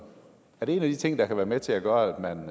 er det en af de ting der kan være med til at gøre at man